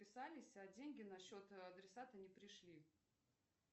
списались а деньги на счет адресата не пришли